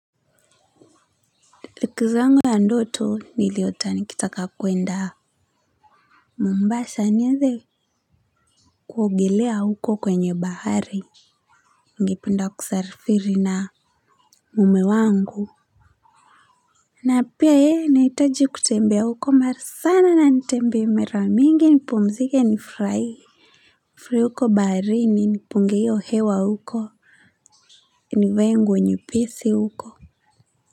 Likizo yangu ya ndoto niliota nikitaka kuenda Mombasa niende kuogelea huko kwenye bahari. Ningependa kusarifiri na mume wangu. Na pia yeye nahitaji kutembea huko mara sana na nitembe mara mingi nipumzike nifurai. Nifurahi huko bahari nipunge hio hewa huko. Nivae nguo nyepesi huko.